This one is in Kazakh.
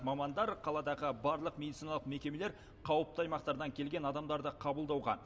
мамандар қаладағы барлық медициналық мекемелер қауіпті аймақтардан келген адамдарды қабылдауға